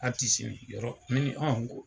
ni Yɔrɔ n ko